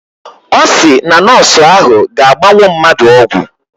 Ọ sị na nọọsụ ahụ ga-agbanwu mmadụ ọgwụ